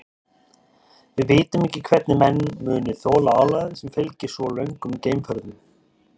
Við vitum ekki hvernig menn muni þola álagið sem fylgir svo löngum geimferðum.